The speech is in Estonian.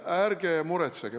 Ärge muretsege!